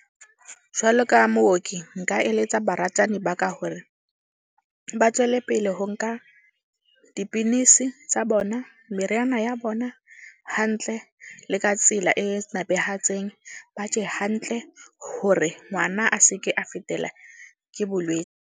Jwalo ka mooki nka eletsa baratani ba ka hore, ba tswele pele ho nka dipilisi tsa bona, meriana ya bona hantle le ka tsela e napehatseng. Ba je hantle hore ngwana a seke a fetela ke .